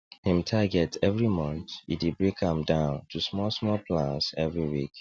him targets every month e dey break am down to small small plans every week